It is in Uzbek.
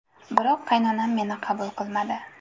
Biroq qaynonam meni qabul qilmadi.